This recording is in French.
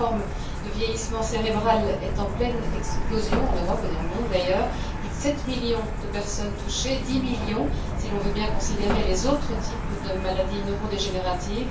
Cette forme de vieillissement cérébral est en pleine explosion en Europe et dans le monde plus de sept millions de personnes touchées et dix millions si l'on veut bien considérer les autres types de maladies neurodégénératives.